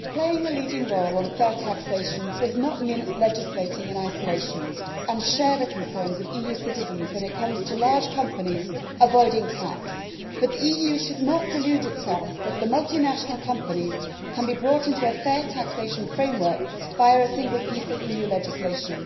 Madam President, playing a leading role on fair taxation does not mean legislating in isolation. I understand and share the concerns of EU citizens when it comes to large companies avoiding tax, but the EU should not delude itself that the multinational companies can be brought into a fair taxation framework via a single piece of EU legislation.